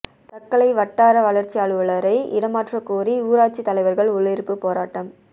தக்கலை வட்டார வளர்ச்சி அலுவலரை இடமாற்றக்கோரி ஊராட்சி தலைவர்கள் உள்ளிருப்பு ேபாராட்டம்